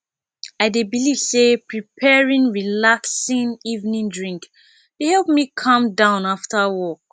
i dey believe say preparing relaxing evening drink dey help me calm down after work